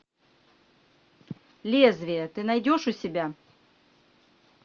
лезвие ты найдешь у себя